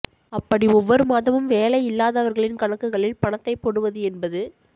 அப்படி ஒவ்வொரு மாதமும் வேலை இல்லாதவர்களின் கணக்குகளில் பணத்தைப் போடுவது என்பது